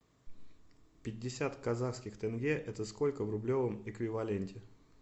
пятьдесят казахских тенге это сколько в рублевом эквиваленте